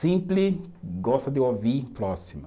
Sempre gosta de ouvir o próximo.